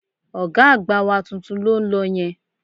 Ọ̀gá àgbà wa tuntun ló ń lọ yẹn